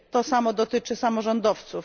To samo dotyczy samorządowców.